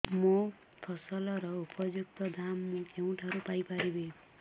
ମୋ ଫସଲର ଉପଯୁକ୍ତ ଦାମ୍ ମୁଁ କେଉଁଠାରୁ ପାଇ ପାରିବି